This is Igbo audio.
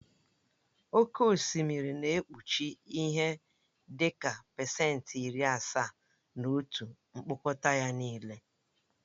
Oke osimiri na-ekpuchi ihe dị ka pasentị iri asaa na otu mkpọkọta ya nịle.